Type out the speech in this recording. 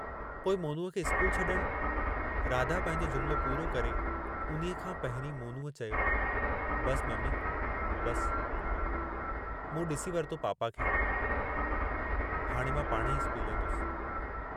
पोइ मोनूअ खे स्कूल छॾणु.. राधा पंहिंजो जुमिलो पूरो करे उन्हीअ खां पहिरीं मोनूअ चयो, "बस, ममी...बस.. मूं ॾिसी वरितो पापा खे, हाणे मां पाणेही स्कूल वेंदुसि।